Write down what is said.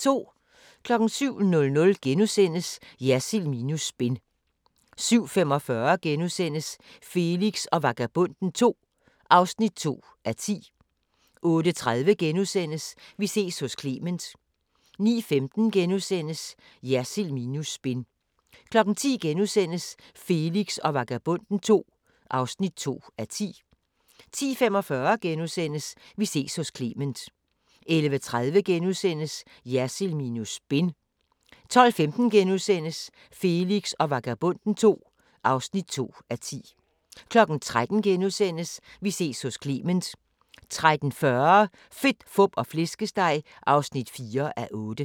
07:00: Jersild minus spin * 07:45: Felix og Vagabonden II (2:10)* 08:30: Vi ses hos Clement * 09:15: Jersild minus spin * 10:00: Felix og Vagabonden II (2:10)* 10:45: Vi ses hos Clement * 11:30: Jersild minus spin * 12:15: Felix og Vagabonden II (2:10)* 13:00: Vi ses hos Clement * 13:40: Fedt, Fup og Flæskesteg (4:8)